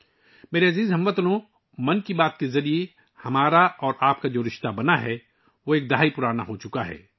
میرے پیارے ہم وطنو، 'من کی بات' کے ذریعے ہمارا باہمی تعلق اب ایک دہائی پرانا ہے